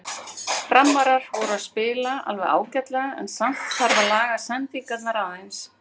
Framarar voru að spila alveg ágætlega en samt þarf að laga sendingarnar aðeins.